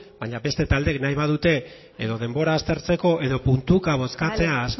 baina beste taldeek nahi badute edo denbora aztertzeko edo puntuka bozkatzea